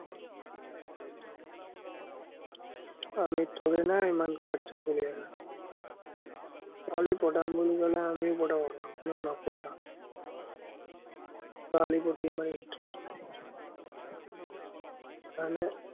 আমি থোৰে ন ইমান কাচ্চা player হয়। ছোৱালী পতাম বুলি কলে, আমিও পতাব পাৰো, কিন্তু, নপতাও। ছোৱালীৰ প্ৰতি ইমান interest নায়। সেই কাৰণে